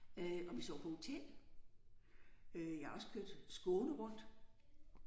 Øh og vi sov på hotel. Øh jeg har også kørt Skåne rundt